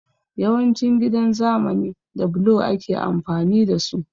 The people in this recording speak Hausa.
Yawancin gidan zamani da blo ake amfani da su